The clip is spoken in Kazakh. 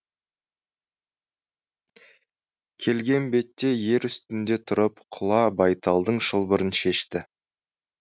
келген бетте ер үстінде тұрып құла байталдың шылбырын шешті